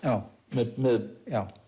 með með